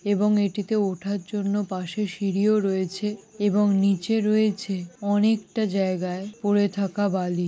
এবং এটিতে ওঠার জন্য পাশে সিঁড়িও রয়েছে এবং নিচে রয়েছে অনেকটা জায়গায় পড়ে থাকা বালি |